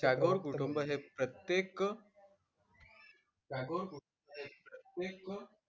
टागोर कुटुंब हे प्रत्येक टागोर कुटुंब हे प्रत्येक,